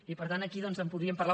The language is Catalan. i per tant aquí doncs en podríem parlar